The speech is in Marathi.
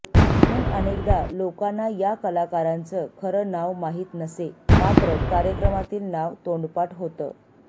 म्हणून अनेकदा लोकांना या कलाकारांचं खरं नाव माहिती नसे मात्र कार्यक्रमातील नाव तोंडपाठ होतं